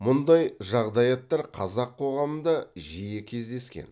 мұндай жағдаяттар қазақ қоғамында жиі кездескен